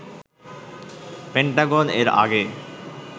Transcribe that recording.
Pentagon এর আগে